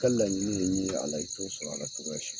I ka laɲini ye min ye a la, i to sɔrɔ a la cogoya si